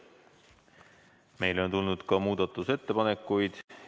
Meile on tulnud ka muudatusettepanekuid.